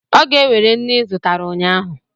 Ọ ga-ewere nnu ị zụtara ụnyahụ